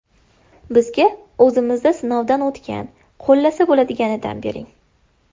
Bizga o‘zimizda sinovdan o‘tgan, qo‘llasa bo‘ladiganidan bering.